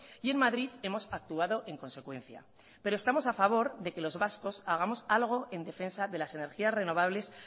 y en madrid hemos actuado en consecuencia pero estamos a favor de que los vascos hagamos algo en defensa de las energías renovables